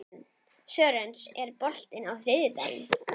Sören, er bolti á þriðjudaginn?